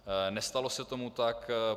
Nestalo se tomu tak.